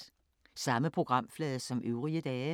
Samme programflade som øvrige dage